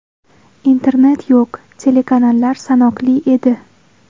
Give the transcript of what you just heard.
Internet yo‘q, telekanallar sanoqli edi.